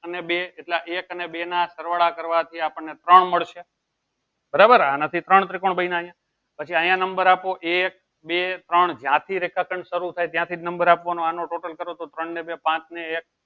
અને બે એટલે એક અને બે ના સરવાળા કરવાથી આપણને ત્રણ મળશે બરાબર આનાથી ત્રોણ ત્રિકોણ બન્યા અહીંયા પછી અહિયાં number આપો એક બે ત્રણ જ્યાંથી રેખાખંડ શરુ થાય ત્યાંથી number આપવાનો આનો total કરો તો ત્રણ ને બે પાંચ ને એક